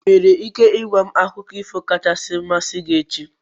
Ị nwere ike ị gwa m akụkọ ifo kachasị amasị gị echi?